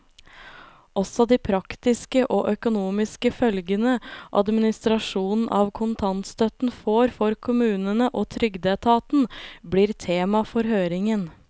Også de praktiske og økonomiske følgene administrasjonen av kontantstøtten får for kommunene og trygdeetaten, blir tema for høringen.